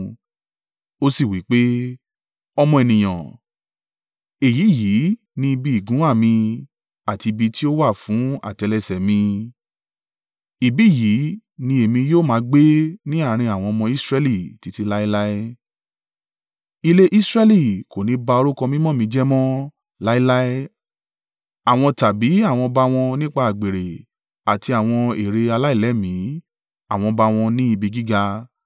Ó sì wí pé, “Ọmọ ènìyàn, èyí yìí ni ibi ìgúnwà mi àti ibi tí ó wà fún àtẹ́lẹsẹ̀ mi. Ibi yìí ni èmi yóò máa gbé ní àárín àwọn ọmọ Israẹli títí láéláé. Ilé Israẹli kò ní ba orúkọ mímọ́ mi jẹ́ mọ́ láéláé àwọn tàbí àwọn ọba wọn nípa àgbèrè àti àwọn ère aláìlẹ́mìí àwọn ọba wọn ní ibi gíga.